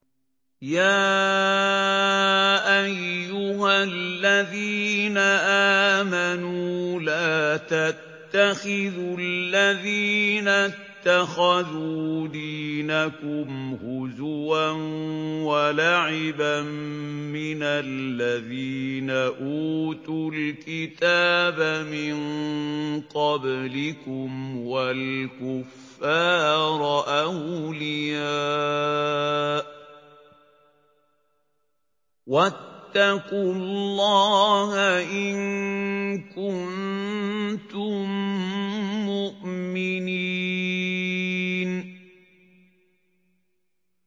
يَا أَيُّهَا الَّذِينَ آمَنُوا لَا تَتَّخِذُوا الَّذِينَ اتَّخَذُوا دِينَكُمْ هُزُوًا وَلَعِبًا مِّنَ الَّذِينَ أُوتُوا الْكِتَابَ مِن قَبْلِكُمْ وَالْكُفَّارَ أَوْلِيَاءَ ۚ وَاتَّقُوا اللَّهَ إِن كُنتُم مُّؤْمِنِينَ